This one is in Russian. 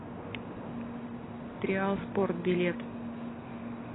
триал спорт билет